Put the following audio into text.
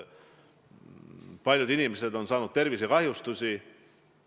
Paljud inimesed on saanud tervisekahjustusi.